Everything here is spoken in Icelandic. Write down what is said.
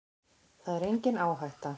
Það er engin áhætta.